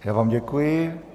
Já vám děkuji.